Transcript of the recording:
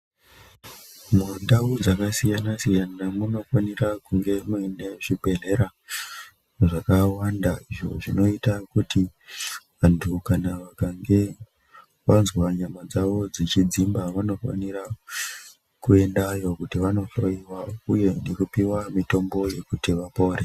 Mundau dzakasiyana siyana munofanira kunge mune zvibhehlera zvakawanda zvinoita kuti vantu kana vakange vanzwa nyama dzavo dzichidzimba vanofanira kuendawo kuti vanohloiwa uyu nekupiwa mitombo yekuti vapore.